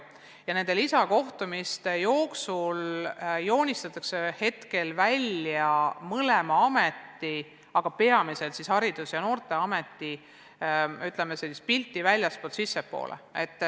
Ja nende lisakohtumiste jooksul on joonistatud mõlema ameti, aga peamiselt Haridus- ja Noorteameti pilti vaatega väljastpoolt sissepoole.